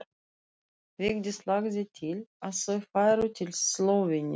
Vigdís lagði til að þau færu til Slóveníu.